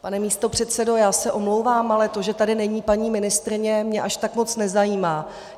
Pane místopředsedo, já se omlouvám, ale to, že tady není paní ministryně, mě až tak moc nezajímá.